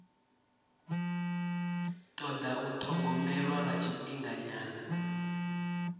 toda u thogomelwa lwa tshifhinganyana